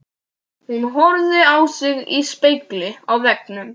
Hún horfði á sig í spegli á veggnum.